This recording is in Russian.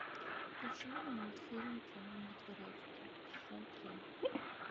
включи мне мультфильм темный дворецкий сезон три